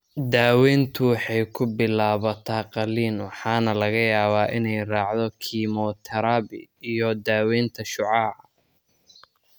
Daaweyntu waxay ku bilaabataa qaliin waxaana laga yaabaa inay raacdo kiimoterabi iyo/ama daaweynta shucaaca.